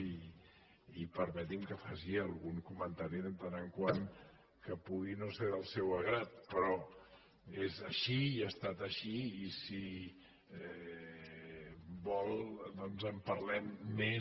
i permeti’m que faci algun comentari de tant en tant que pugui no ser del seu grat però és així i ha estat així i si vol doncs en parlem més